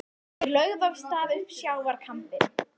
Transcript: Þeir lögðu af stað upp sjávarkambinn.